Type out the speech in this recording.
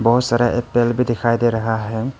बहोत सारा भी दिखाई दे रहा है।